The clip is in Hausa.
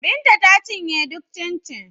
Binta ta cinye duk cincin